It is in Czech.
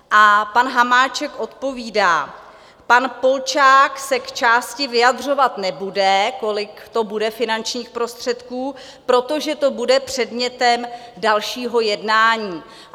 A pan Hamáček odpovídá: Pan Polčák se k částce vyjadřovat nebude, kolik to bude finančních prostředků, protože to bude předmětem dalšího jednání.